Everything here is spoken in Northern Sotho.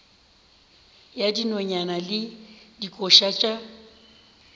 ya dinonyane le dikoša tša